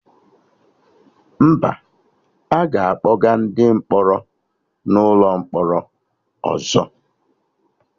Mba, aga akpọga ndị mkpọrọ n'ụlọ mkpọrọ ọzọ